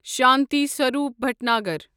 Shanti Swaroop Bhatnagar